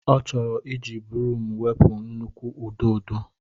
Ọ chọrọ iji broom wepụ nnukwu ududo.